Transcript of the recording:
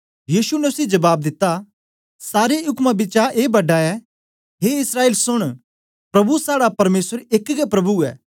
यीशु ने उसी जबाब दिता सार उक्में बिचा ए बड़ा ऐ हे इस्राएल सुन प्रभु साड़ा परमेसर एक गै प्रभु ऐ